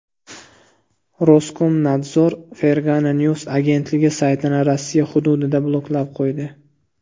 Roskomnadzor Fergana News agentligi saytini Rossiya hududida bloklab qo‘ydi .